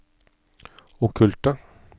okkulte